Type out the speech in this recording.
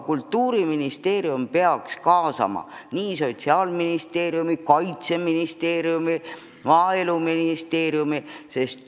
Ta peaks kaasama Sotsiaalministeeriumi, Kaitseministeeriumi, Maaeluministeeriumi.